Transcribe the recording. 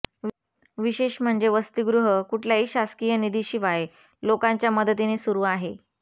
विशेष म्हणजे वसतिगृह कुठल्याही शासकीय निधीशिवाय लोकांच्या मदतीने सुरू आहे